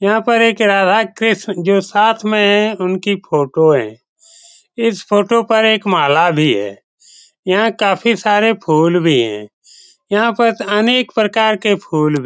यहाँ पर एक राधा-कृष्ण जो साथ में हैं उनकी फोटो है इस फोटो पर एक माला भी है यहाँ काफी सारे फूल भी हैं यहाँ पर अनेक प्रकार के फूल भी --